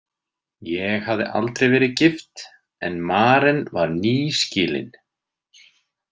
Ég hafði aldrei verið gift en Maren var nýskilin.